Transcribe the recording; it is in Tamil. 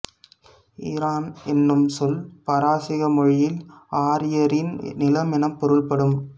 ஈரான் என்னும் சொல் பாரசீக மொழியில் ஆரியரின் நிலம் எனப் பொருள்படும்